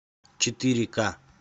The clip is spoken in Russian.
четыре ка